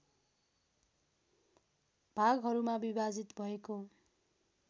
भागहरूमा विभाजित भएको